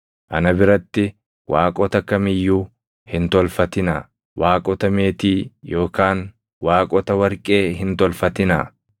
ana biratti waaqota kam iyyuu hin tolfatinaa. Waaqota meetii yookaan waaqota warqee hin tolfatinaa.